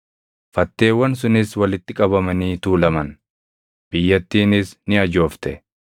Fatteewwan sunis walitti qabamanii tuulaman; biyyattiinis ni ajoofte.